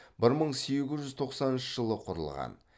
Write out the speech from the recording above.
бір мың сегіз жүз тоқсаныншы жылы құрылған